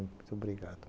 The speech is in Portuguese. Muito obrigado.